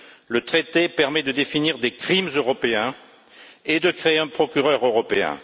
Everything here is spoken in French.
Le traité permet de définir des crimes européens et de créer un procureur européen.